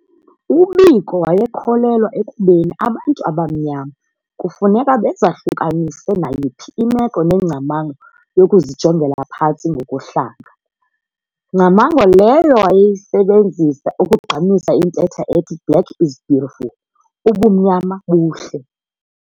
UBiko wayekholelwa ekubeni abantu abamnyama kufuneka bezahlukanise nayiphi imeko nengcamango yokuzijongela phantsi ngokuhlanga, ngcamango leyo wayeyisebenzisa ukugqamisa intetha ethi "black is beautiful", "ubumnyama buhle".